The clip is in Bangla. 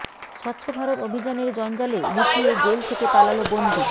স্বচ্ছ ভারত অভিযানের জঞ্জালে লুকিয়ে জেল থেকে পালাল বন্দি